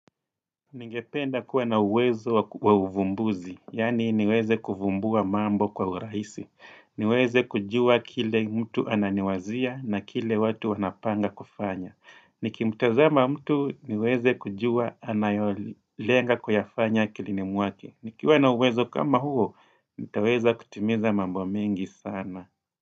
Ningependa kuwa na uwezo wa uvumbuzi, yaani niweze kuvumbua mambo kwa urahisi, niweze kujua kile mtu ananiwazia na kile watu wanapanga kufanya, nikimtazama mtu niweze kujua anayolenga kuyafanya akili ni mwake, nikiwa na uwezo kama huo, nitaweza kutimiza mambo mengi sana.